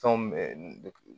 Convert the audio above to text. Fɛnw bɛ